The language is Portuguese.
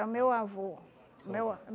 é o meu avô. Meu ah